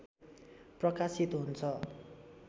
प्रकाशित हुन्छ